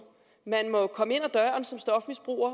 man må som stofmisbruger